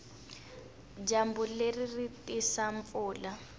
dyambu leri ri tisa mpfula